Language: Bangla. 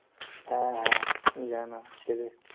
হ্যাঁ হ্যাঁ জানা আছে